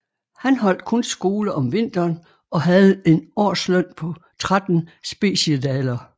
Han holdt kun skole om vinteren og havde en årsløn på 13 speciedaler